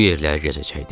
Bu yerləri gəzəcəkdik.